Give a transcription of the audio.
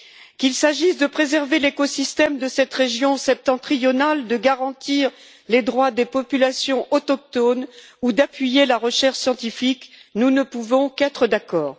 Qu'il s'agisse de préserver l'écosystème de cette région septentrionale, de garantir les droits des populations autochtones ou d'appuyer la recherche scientifique, nous ne pouvons qu'être d'accord.